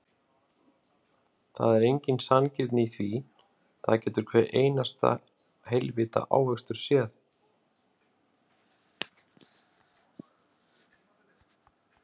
Það er engin sanngirni í því, það getur hver einasti heilvita ávöxtur séð.